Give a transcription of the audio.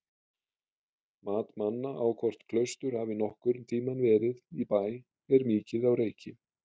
Mat manna á hvort klaustur hafi nokkurn tímann verið í Bæ er mikið á reiki.